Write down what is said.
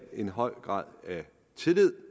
en høj grad af tillid